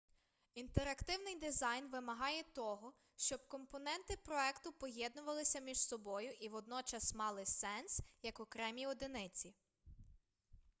інтерактивний дизайн вимагає того щоб компоненти проекту поєднувалися між собою і водночас мали сенс як окремі одиниці